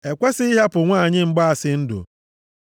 “E kwesighị ịhapụ nwanyị mgbaasị ndụ.